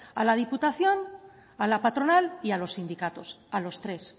a la diputación a la patronal y a los sindicatos a los tres